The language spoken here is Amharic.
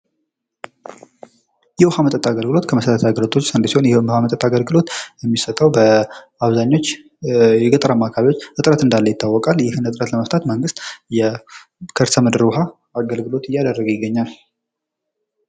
የውሀ መጠጥ አገልግሎት ከመሰረታዊ አገልግሎቶች አንዱ ሲሆን ይህም የውሀ መጠጥ አገልግሎት የሚሰጠው በአብዛኞች የገጠራማ ክፍሎች እጥረት እንዳለ ይታወቃል። ይህን እጥረት ለመፍታት መንግስት የከርሰ ምድር ውሃ አገልግሎት እያደረገ ይገኛል።